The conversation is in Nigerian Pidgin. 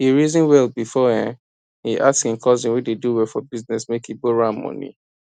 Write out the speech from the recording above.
that unexpected tax um refund cash um ginger my swagger die e um burst my brain proper